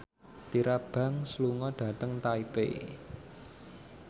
Tyra Banks lunga dhateng Taipei